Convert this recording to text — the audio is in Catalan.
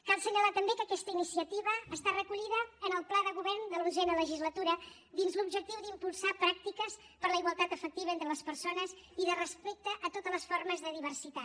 cal assenyalar també que aquesta iniciativa està recollida en el pla de govern de l’onzena legislatura dins l’objectiu d’impulsar pràctiques per a la igualtat efectiva entre les persones i de respecte a totes les formes de diversitat